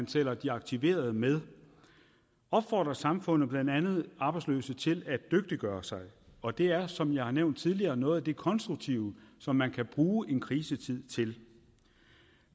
tæller de aktiverede med opfordrer samfundet blandt andet arbejdsløse til at dygtiggøre sig og det er som jeg har nævnt tidligere noget af det konstruktive som man kan bruge en krisetid til